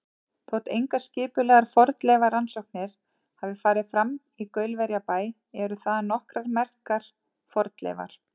Þótt engar skipulegar fornleifarannsóknir hafi farið fram í Gaulverjabæ eru þaðan nokkrar merkar fornleifar.